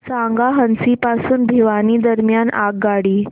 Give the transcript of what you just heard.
सांगा हान्सी पासून भिवानी दरम्यान आगगाडी